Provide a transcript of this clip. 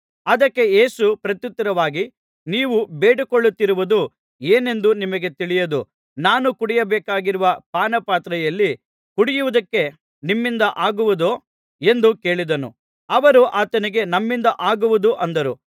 ಅದಕ್ಕೆ ಯೇಸು ಪ್ರತ್ಯುತ್ತರವಾಗಿ ನೀವು ಬೇಡಿಕೊಳ್ಳುತ್ತಿರುವುದು ಏನೆಂದು ನಿಮಗೆ ತಿಳಿಯದು ನಾನು ಕುಡಿಯಬೇಕಾಗಿರುವ ಪಾನಪಾತ್ರೆಯಲ್ಲಿ ಕುಡಿಯುವುದಕ್ಕೆ ನಿಮ್ಮಿಂದ ಆಗುವುದೋ ಎಂದು ಕೇಳಿದನು ಅವರು ಆತನಿಗೆ ನಮ್ಮಿಂದ ಆಗುವುದು ಅಂದರು